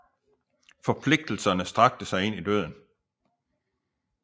Forpligtelserne strakte sig ind i døden